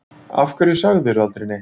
Af hverju sagðirðu aldrei neitt?